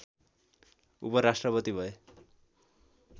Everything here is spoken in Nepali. उपराष्ट्रपति भए